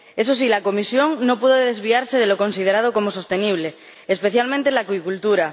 Eso sí, la Comisión no puede desviarse de lo considerado como sostenible, especialmente en la acuicultura.